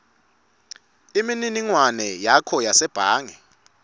imininingwane yakho yasebhange